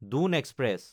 Dune express